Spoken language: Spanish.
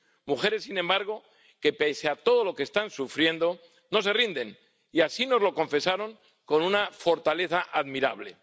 Mujeres, sin embargo, que, pese a todo lo que están sufriendo, no se rinden, y así nos lo confesaron con una fortaleza admirable.